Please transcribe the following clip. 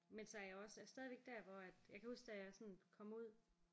Men så er jeg også stadigvæk der hvor at jeg kan huske da jeg sådan kom ud